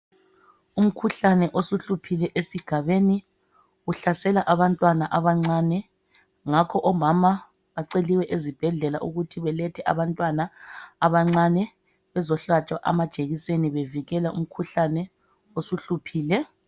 Umkhuhlane osuhluphile esigabeni uhlasela abantwana abancane. Ngakho omama baceliwe esibhedlela ukuthi balethe abantwana abancane bezohlatshwa amajekiseni bevikelwa umkhuhlane osuhluphile.